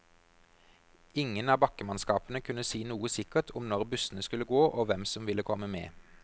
Ingen av bakkemannskapene kunne si noe sikkert om når bussene skulle gå, og hvem som ville komme med.